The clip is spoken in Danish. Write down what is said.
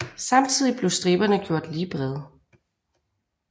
Samtidig blev striberne gjort lige brede